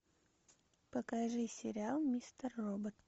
покажи сериал мистер робот